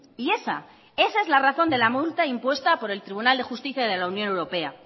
y esa esa es la razón de la multa impuesta por el tribunal de justicia de la unión europea